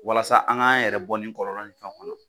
Walasa an k'an yɛrɛ bɔ ni kɔlɔlɔ fɛnɛ kɔnɔ